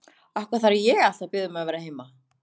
Af hverju þarf ég alltaf að biðja þig um að vera heima?